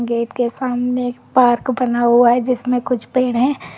Gate के सामने एक पार्क बना हुआ है जिसमें कुछ पेड़ है।